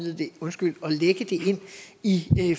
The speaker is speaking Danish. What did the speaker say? i